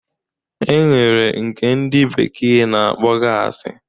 E nwere nke ndi bekee na-akpọ gasi